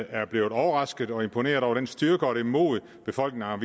er blevet overrasket og imponeret over den styrke og det mod befolkningerne